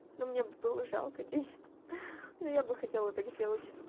но мне было жалко денег ха но я бы хотела так сделать